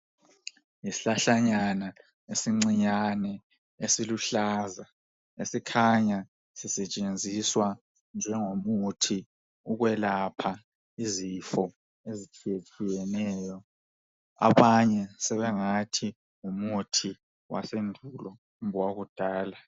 Yisihlahlanyana esincinyane esiluhlaza .Esikhanya sisetshenziswa njengomuthi ukwelapha izifo ezitshiye tshiyeneyo. Abanye sebengathi ngumuthi wasendulo kumbe owakudala .